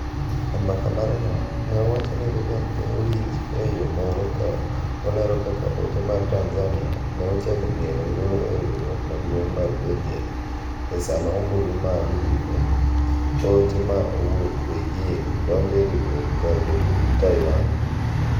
E mbaka mare no ne owacho ni Reagan ne owinj e yo moro ka olero kaka ote mar Tanzania ne ochako mielo ngolo e riwruok maduong’ mar pinje e sama ombulu mar yue ote ma owuok Beijing donjo e riwruok kar bedo gi Taiwan